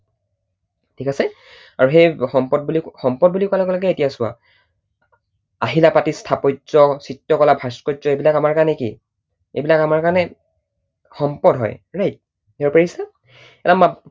ঠিক আছে? আৰু সেই সম্পদ বুলি, সম্পদ বুলি কোৱাৰ লগে লগে এতিয়া চোৱা, আহিলা পাতি, স্থাপত্য, চিত্ৰ কলা, ভাস্কৰ্য্য এইবিলাক আমাৰ কাৰণে কি, এইবিলাক আমাৰ কাৰণে সম্পদ হয়, right? ধৰিব পাৰিছা?